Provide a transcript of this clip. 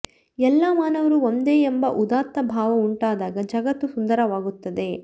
ಎಲ್ಲ ಮಾನವರೂ ಒಂದೇ ಎಂಬ ಉದಾತ್ತ ಭಾವ ಉಂಟಾದಾಗ ಜಗತ್ತು ಸುಂದರವಾಗುತ್ತದೆ